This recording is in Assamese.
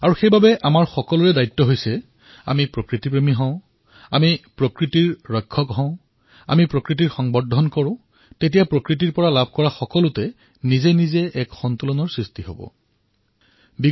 আৰু সেইবাবে আমাৰ সকলোৰে দায়িত্ব যেআমি প্ৰকৃতিক প্ৰেম কৰোঁ আমি প্ৰকৃতিৰ ৰক্ষণ কৰোঁ আমি প্ৰকৃতিৰ সংবৰ্ধক হওঁ প্ৰকৃতিদত্ত যিসমূহ সামগ্ৰী আছে সেইসমূহৰ ভাৰসাম্য ৰক্ষা কৰোঁ